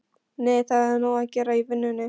Nei, það er nóg að gera í vinnunni.